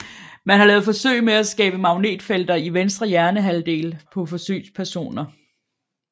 Man har lavet forsøg med at skabe magnetfelter i venstre hjernehalvdel på forsøgspersoner